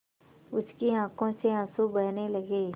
उसकी आँखों से आँसू बहने लगे